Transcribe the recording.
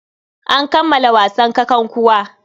An kammala wasan kakankuwa.